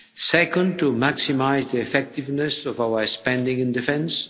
second, to maximise the effectiveness of our spending on defence